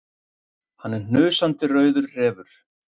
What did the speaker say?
Hann er hnusandi rauður refur.